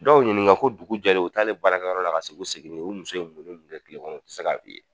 Dɔw ɲininka ko dugu jɛlen u taa'le baarakɛyɔrɔ la, ka segin, u seginnen, u muso